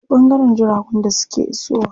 Akwai ɓangaren jiragun da suke iso wa.